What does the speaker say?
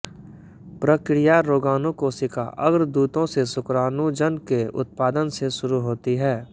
प्रक्रिया रोगाणु कोशिका अग्रदूतों से शुक्राणुजन के उत्पादन से शुरू होती है